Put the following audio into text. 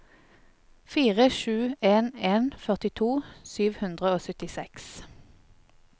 fire sju en en førtito sju hundre og syttiseks